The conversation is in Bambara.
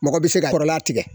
Mɔgɔ bɛ se ka kɔrɔla tigɛ